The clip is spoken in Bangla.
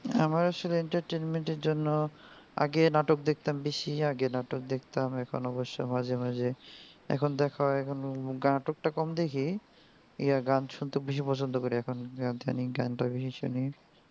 আমার আসলে entertainment এর জন্য আগে নাটক দেখতাম বেশি আগে নাটক দেখতাম এখন অবশ্য মাঝে মাঝে এখন দেখা হয় নাটক টা কম দেখি এই গান শুনতে বেশি পছন্দ করি এখন ইদানিং গানটা বেশি শুনি.